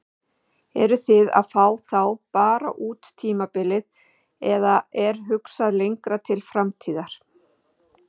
Eruð þið að fá þá bara út tímabilið eða er hugsað lengra til framtíðar?